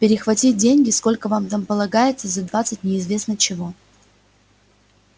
перехватить деньги сколько вам там полагается за двадцать неизвестно чего